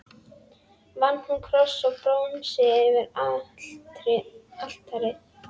Vann hún kross úr bronsi yfir altarið.